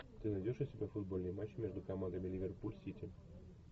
ты найдешь у себя футбольный матч между командами ливерпуль сити